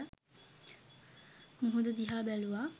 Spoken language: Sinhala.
මුහුද දිහා බැලුව.